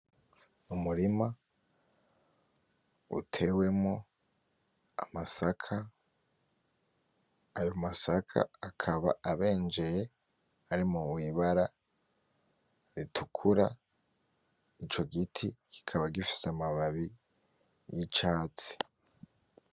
Umurima utewemwo amasaka ayo masaka akaba abenjeye ari mwibara ritukura ico giti kikaba gifise amababi y'icatsi